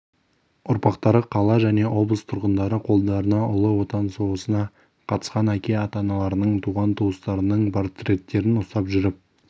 ұрпақтары қала және облыс тұрғындары қолдарына ұлы отан соғысына қатысқан әке-аталарының туған-туыстарының портреттерін ұстап жүріп